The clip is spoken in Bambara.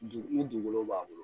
Du ni dugukolo b'a bolo